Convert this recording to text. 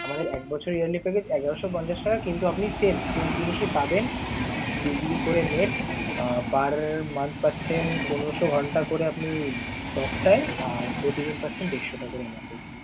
আমাদের এক বছরের yearly package এগারোশ পঞ্চাশ টাকা কিন্তু আপনি same same জিনিসই পাবেন two GB করে net আহ per month পাচ্ছেন পনেরোশ ঘণ্টা করে আপনি talktime, আর প্রতিদিন পাচ্ছেন দেড়শ টা করে message ।